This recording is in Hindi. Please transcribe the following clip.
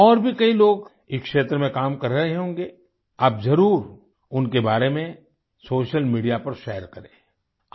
और भी कई लोग इस क्षेत्र में काम कर रहे होंगे आप ज़रूर उनके बारे में सोशल मीडिया पर शेयर करेंआई